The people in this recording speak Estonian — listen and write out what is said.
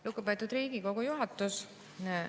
Lugupeetud Riigikogu juhatus!